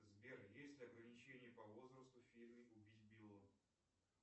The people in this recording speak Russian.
сбер есть ли ограничение по возрасту в фильме убить билла